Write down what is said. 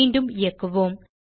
மீண்டும் இயக்குவோம்